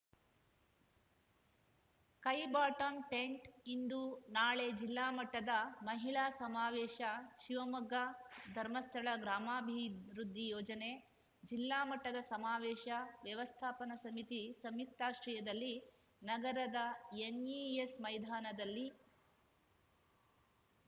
ಕೈ ಬಾಟಂ ಟಿಂಟ್‌ಇಂದು ನಾಳೆ ಜಿಲ್ಲಾ ಮಟ್ಟದ ಮಹಿಳಾ ಸಮಾವೇಶ ಶಿವಮೊಗ್ಗ ಧರ್ಮಸ್ಥಳ ಗ್ರಾಮಾಭಿವೃದ್ಧಿ ಯೋಜನೆ ಜಿಲ್ಲಾ ಮಟ್ಟದ ಸಮಾವೇಶ ವ್ಯವಸ್ಥಾಪನ ಸಮಿತಿ ಸಂಯುಕ್ತಾಶ್ರಯದಲ್ಲಿ ನಗರದ ಎನ್‌ಇಎಸ್‌ ಮೈದಾನದಲ್ಲಿ